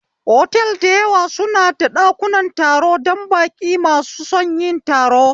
Otal dayawa suna da ɗakunan taro dan baƙin masu son yin taro